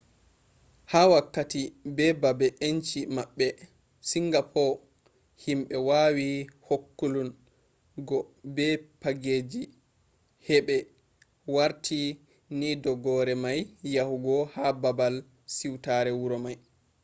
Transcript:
ha wakkati be habe enci mabbe singapor himbe wawi hakkulun go be pageji hebe warti ni dogare mai yahugo ha babal siutare wuro mai